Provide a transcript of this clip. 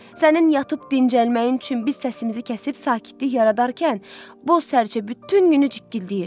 Sənin yatıb dincəlməyin üçün biz səsimizi kəsib sakitlik yaradarkən, boz sərçə bütün günü cikkilləyir.